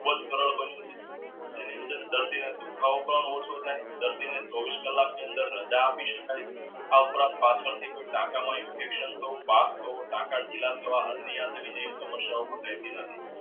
જેના અંદર દર્દી ને દુખાવો પણ ઓછો થઈ દર્દી ને ચોવીસ કલાક ની અંદર રાજા આપી સકાઈ